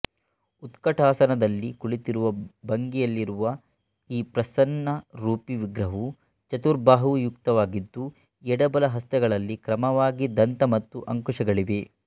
ಉತ್ಕಟಾಸನದಲ್ಲಿ ಕುಳಿತಿರುವ ಭಂಗಿಯಲ್ಲಿರುವ ಈ ಪ್ರಸನ್ನರೂಪಿ ವಿಗ್ರಹವು ಚತುರ್ಬಾಹುಯುಕ್ತವಾಗಿದ್ದು ಎಡ ಬಲ ಹಸ್ತಗಳಲ್ಲಿ ಕ್ರಮವಾಗಿ ದಂತ ಮತ್ತು ಅಂಕುಶಗಳಿವೆ